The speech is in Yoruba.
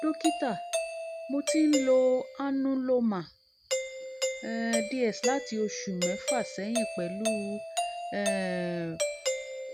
dọ́kítà mo ti ń lo anuloma um ds láti oṣù mẹ́fà sẹ́yìn pẹ̀lú um